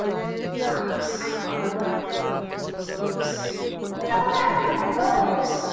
না আমি কোনোদিন করিনি